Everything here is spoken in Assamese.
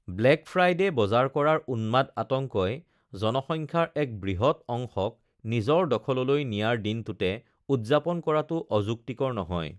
ব্লেক ফ্ৰাইডে বজাৰ কৰাৰ উন্মাদ আতংকই জনসংখ্যাৰ এক বৃহৎ অংশক নিজৰ দখললৈ নিয়াৰ দিনটোতে উদযাপন কৰাটো অযুক্তিকৰ নহয়!